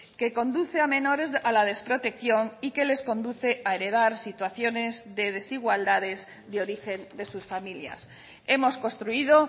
que conduce a menores a la desprotección y que les conduce a heredar situaciones de desigualdades de origen de sus familias hemos construido